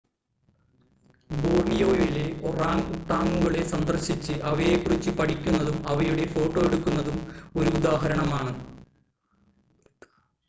ബോർണിയോയിലെ ഒറാങ്ങ് ഉട്ടാങ്ങുകളെ സന്ദർശിച്ച് അവയെക്കുറിച്ച് പഠിക്കുന്നതും അവയുടെ ഫോട്ടോ എടുക്കുന്നതും ഒരുദാഹരണമാണ്